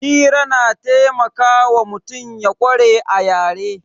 Hira na taimakawa mutum ya ƙware a yare